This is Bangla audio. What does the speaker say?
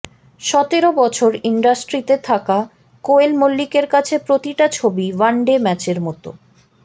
সতেরো বছর ইন্ডাস্ট্রিতে থাকা কোয়েল মল্লিকের কাছে প্রতিটা ছবি ওয়ানডে ম্যাচের মতো